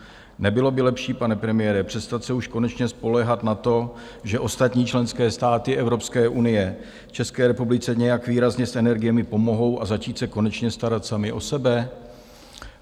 Nebylo by lepší, pane premiére, přestat se už konečně spoléhat na to, že ostatní členské státy Evropské unie České republice nějak výrazně s energiemi pomohou, a začít se konečně starat sami o sebe?